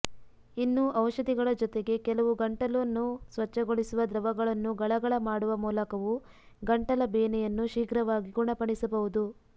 ಇನ್ನು ಔಷಧಿಗಳ ಜೊತೆಗೇ ಕೆಲವು ಗಂಟಲನ್ನು ಸ್ವಚ್ಛಗೊಳಿಸುವ ದ್ರವಗಳನ್ನು ಗಳಗಳ ಮಾಡುವ ಮೂಲಕವೂ ಗಂಟಲ ಬೇನೆಯನ್ನು ಶೀಘ್ರವಾಗಿ ಗುಣಪಡಿಸಬಹುದು